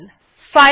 enter টিপলাম